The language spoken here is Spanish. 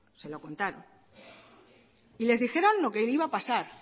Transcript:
se lo contaron y les dijeron lo que iba a pasar